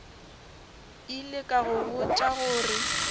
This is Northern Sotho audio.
ile ka go botša gore